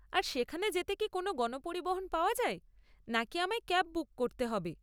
আর সেখানে যেতে কি কোনও গণপরিবহন পাওয়া যায় নাকি আমায় ক্যাব বুক করতে হবে?